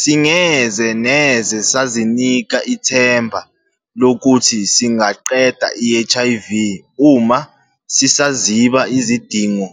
Singeze neze sazinika ithemba lokuthi singaqeda i-HIV uma sisaziba izidingo,